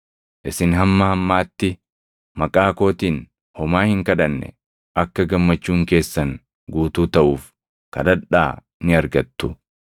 Isin hamma ammaatti maqaa kootiin homaa hin kadhanne. Akka gammachuun keessan guutuu taʼuuf kadhadhaa ni argattu.